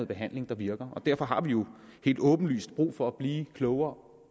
behandling der virker og derfor har vi jo helt åbenlyst brug for at blive klogere